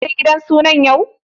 Za ka je sunan gidan hauwa?